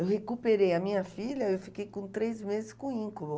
Eu recuperei a minha filha e eu fiquei com três meses com íncubo.